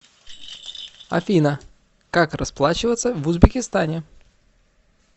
афина как расплачиваться в узбекистане